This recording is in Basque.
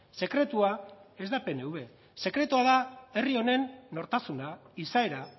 sekretua ez da pnv sekretua da herri honen nortasuna izaera